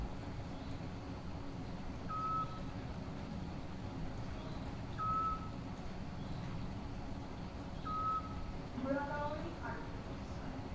ঢোঁৰাকাউৰী আৰু টিপচীচৰাই